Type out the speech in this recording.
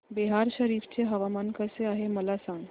बिहार शरीफ चे हवामान कसे आहे मला सांगा